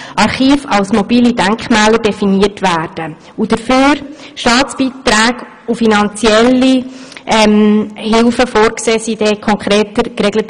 Archive als mobile Denkmäler definiert, und dafür vorgesehene Staatsbeiträge und finanzielle Hilfen sind dann in Artikel 29 konkreter geregelt.